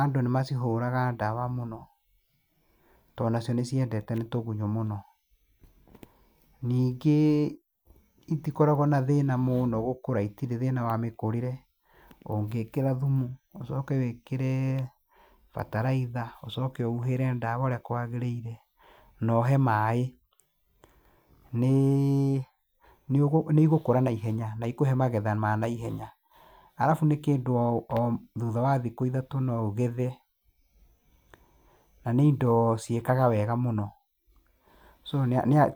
andũ nĩmacihũraga ndawa mũno, tondũ nacio nĩ ciendetwo nĩ tũgunyũ mũno . Ningĩ itikoragwo na thĩna mũno gũkũra. Itirĩ thĩna wa mĩkũrĩre. Ũngĩkĩra thumu, ũcoke wĩkĩre bataraitha, ũcoke ũhuhĩre ndawa ũrĩa kwagĩrĩire, na ũhe maĩ, nĩ igũkũra naihenya, na ikũhe magetha ma naihenya. Arabu nĩ kĩndũ o thutha wa thikũ ithatũ no ũgethe. Na nĩ indo ciĩkaga wega mũno. So